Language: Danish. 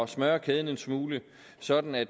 smøre kæden en smule sådan at